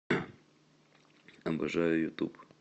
обожаю ютуб